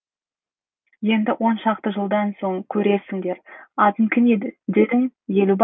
енді оншақты жылдан соң көрерсіңдер атын кім дедің елубай